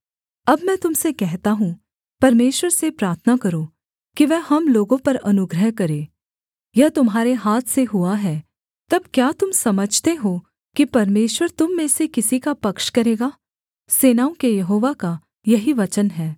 अब मैं तुम से कहता हूँ परमेश्वर से प्रार्थना करो कि वह हम लोगों पर अनुग्रह करे यह तुम्हारे हाथ से हुआ है तब क्या तुम समझते हो कि परमेश्वर तुम में से किसी का पक्ष करेगा सेनाओं के यहोवा का यही वचन है